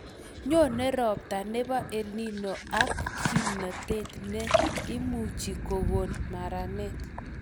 Nyone robta nebo EL Nino ak kimnotet ne imuchi kokon maranet